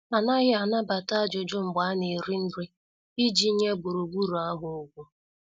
Anaghị anabata ajụjụ mgbe a na- eri nri, iji nye gburugburu ahụ ugwu.